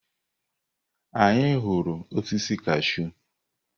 Anyị hụrụ osisi kashụ.